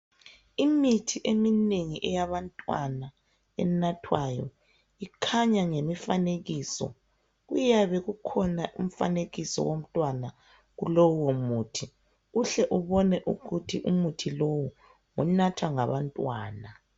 Imithi eminengi eyabantwana enathwayo ikhanya ngemifanekiso kuyabe kukhona umfanekiso womntwana kulowo muthi uhle ubone ukuthi umuthi lowu unathwa ngabantwana.